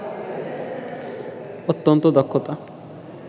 অত্যন্ত দক্ষতা